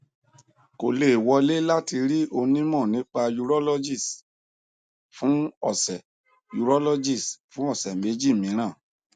kò lè wọlé láti rí onímọ nípa urologist fún ọsẹ urologist fún ọsẹ méjì mìíràn